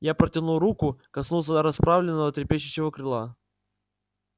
я протянул руку коснулся расправленного трепещущего крыла